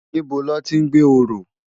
Nibó lòti n gbé óró?